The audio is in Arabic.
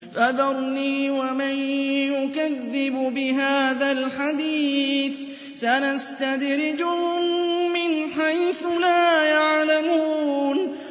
فَذَرْنِي وَمَن يُكَذِّبُ بِهَٰذَا الْحَدِيثِ ۖ سَنَسْتَدْرِجُهُم مِّنْ حَيْثُ لَا يَعْلَمُونَ